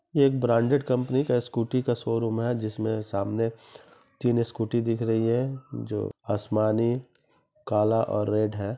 यह एक branded company का स्कूटी का शोरूम है जिसमे सामने तीन स्कूटी दिख रही है जो आसमानी काला और रेड है ।